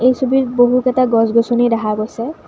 এই ছবিত বহুতকেটা গছ-গছনি দেখা গৈছে।